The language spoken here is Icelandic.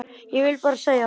Ég vil bara segja það.